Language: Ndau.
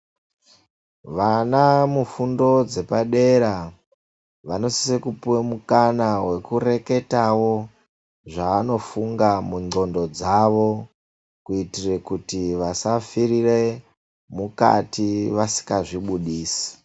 Vana mufundo dzepadera vandosise kupiwa mukana wokureketawo zvavanofunga munqondo dzavo, kuitira kuti vasafirire mukati vasingazvibuditsi.